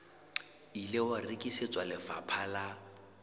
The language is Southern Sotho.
ile wa rekisetswa lefapha la